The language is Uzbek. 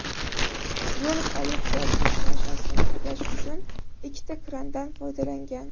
Yo‘l politsiyasi yuk mashinasini tiklash uchun ikkita krandan foydalangan.